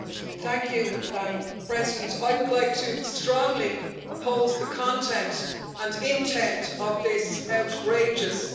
Madam President, I would like to strongly oppose the content and intent of this outrageous motion.